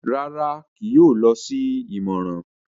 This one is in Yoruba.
Rárá, kìí yóò lọ si ìmọràn